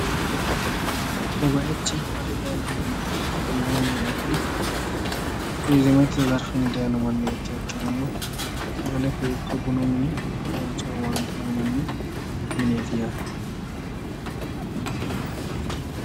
Kuni biifinohu sagalenna bunu mineti, tene basera ayee gari wosinchino daayiro hagiidhe harano biifino baseti